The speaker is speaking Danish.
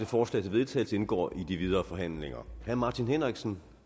forslag til vedtagelse indgår i de videre forhandlinger herre martin henriksen